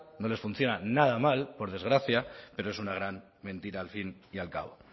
no les funciona nada mal por desgracia pero es una gran mentira al fin y al cabo